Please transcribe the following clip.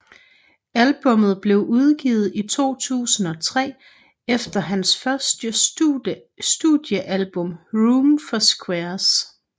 Albummet blev udgivet i 2003 efter hans første studiealbum Room for Squares